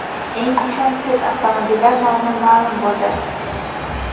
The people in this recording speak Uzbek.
Eng ishonchsiz avtomobillar nomi ma’lum bo‘ldi.